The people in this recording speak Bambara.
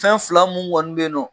Fɛn fila mun kɔni bɛ yen nɔ.